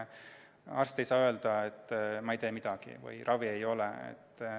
Arst ei saa öelda, et ma ei tee midagi või et ravi ei ole.